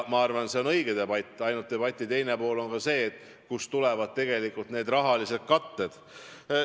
Ma arvan, et see on õige debatt, ainult selle teine külg on see, kust tuleb rahaline kate.